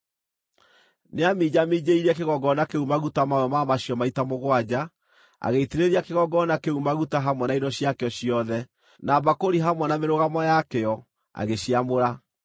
Nĩaminjaminjĩirie kĩgongona kĩu maguta mamwe ma macio maita mũgwanja, agĩitĩrĩria kĩgongona kĩu maguta hamwe na indo ciakĩo ciothe, na mbakũri hamwe na mĩrũgamo yakĩo, agĩciamũra.